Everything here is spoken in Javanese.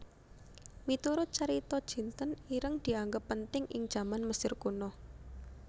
Miturut carita jinten ireng dianggep penting ing jaman Mesir Kuna